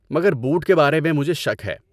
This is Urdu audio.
مگر بوٹ کے بارے میں مجھے شک ہے۔